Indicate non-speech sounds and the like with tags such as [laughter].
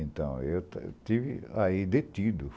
Então, eu [unintelligible] estive aí detido.